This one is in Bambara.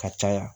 Ka caya